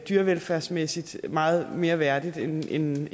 dyrevelfærdsmæssigt meget mere værdigt end